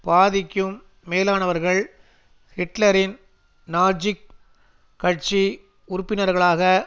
பாதிக்கும் மேலானவர்கள் ஹிட்லரின் நாஜிக் கட்சி உறுப்பினர்களாக